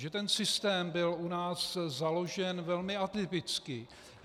Že ten systém byl u nás založen velmi atypicky.